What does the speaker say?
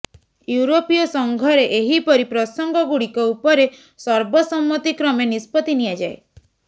ୟୁରୋପୀୟ ସଂଘରେ ଏହିପରି ପ୍ରସଙ୍ଗ ଗୁଡିକ ଉପରେ ସର୍ବସମ୍ମତି କ୍ରମେ ନିଷ୍ପତି ନିଆଯାଏ